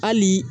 Hali